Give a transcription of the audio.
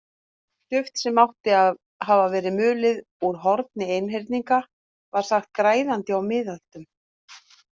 Duft sem átti að hafa verið mulið úr horni einhyrninga var sagt græðandi á miðöldum.